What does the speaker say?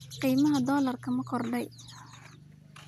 Qiimaha dollarku ma kordhay?